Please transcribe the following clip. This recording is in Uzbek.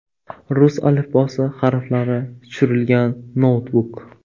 Rus alifbosi harflari tushirilgan noutbuk.